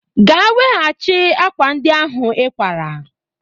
Gaa weghachi akwa ndị ahụ ịkwara!